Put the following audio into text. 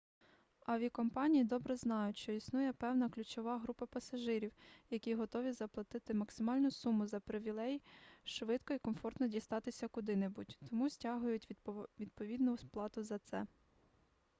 авіакомпанії добре знають що існує певна ключова група пасажирів які готові заплатити максимальну суму за привілей швидко і комфортно дістатися куди-небудь тому стягують відповідну плату за це